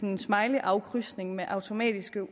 en smileyafkrydsning med automatisk